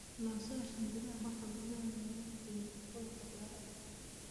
Naasaha shinbiraha waxaa badanaa lagu bixiyaa suugo khudaar ah.